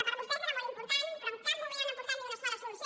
per a vostès era molt important però en cap moment han aportat ni una sola solució